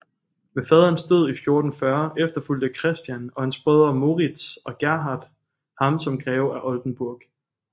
Ved faderens død i 1440 efterfulgte Christian og hans brødre Morits og Gerhard ham som greve af Oldenburg